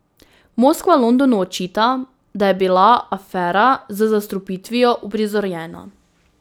Moskva Londonu očita, da je bila afera z zastrupitvijo uprizorjena.